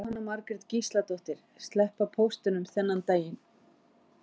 Jóhanna Margrét Gísladóttir: Sleppa póstinum þennan daginn?